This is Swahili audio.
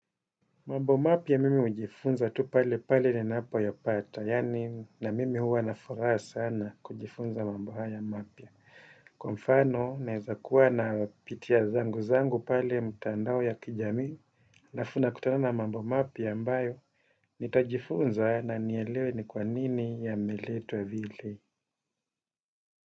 Mambo mapya mimi ujifunza tu pale pale ninapo yapata, yaani, na mimi huwa na furaha sana kujifunza mambo haya mapya. Kwa mfano, naweza kuwa napitia zangu zangu pale ya mitandao ya kijamii, alafu nakutana na mambo mapya ambayo, nitajifunza na nielewe ni kwa nini yameletwa vile.